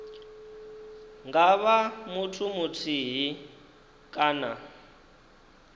nga vha muthu muthihi kana